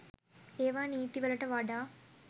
ඒවා නීති වලට වඩා